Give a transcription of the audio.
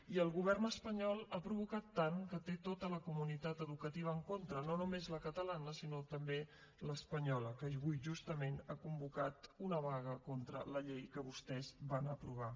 i el govern espanyol ha provocat tant que té tota la comunitat educativa en contra no només la catalana sinó també l’espanyola que avui justament ha convocat una vaga contra la llei que vostès van aprovar